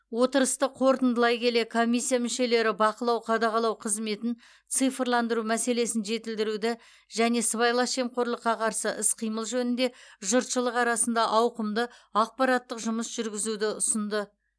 отырысты қорытындылай келе комиссия мүшелері бақылау қадағалау қызметін цифрландыру мәселесін жетілдіруді және сыбайлас жемқорлыққа қарсы іс қимыл жөнінде жұртшылық арасында ауқымды ақпараттық жұмыс жүргізуді ұсынды